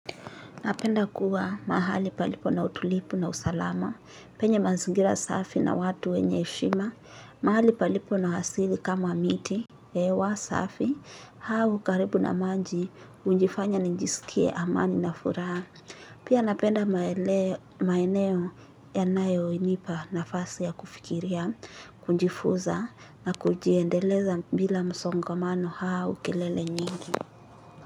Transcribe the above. Napenda kuwa mahali palipo na utulipu na usalama, penye mazingira safi na watu wenye eshima, mahali palipo na hasili kama miti, ewa safi, hau karibu na manji, unjifanya njisikie amani na furaha. Pia napenda maeneo yanayoinipa nafasi ya kufikiria, kunjifuza na kujiendeleza bila msongamano hau kelele nyingi.